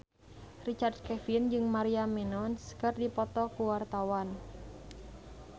Richard Kevin jeung Maria Menounos keur dipoto ku wartawan